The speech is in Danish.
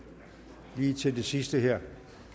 lige til det sidste her